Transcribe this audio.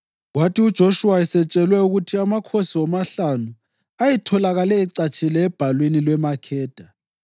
Kwathi uJoshuwa esetshelwe ukuthi amakhosi womahlanu ayetholakale ecatshile ebhalwini lweMakheda,